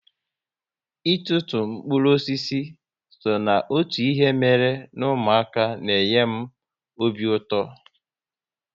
Ịtụtu mkpụrụ osisi so n'otu ihe mere n'umuaka n'enye m obi ụtọ